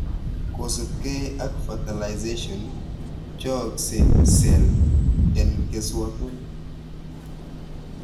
Kosibke ak fertilization, pcheyokse cell en keswoot orit